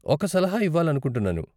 ఒక సలహా ఇవ్వాలనుకుంటున్నాను.